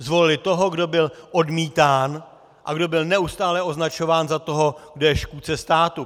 Zvolili toho, kdo byl odmítán a kdo byl neustále označován za toho, kdo je škůdce státu.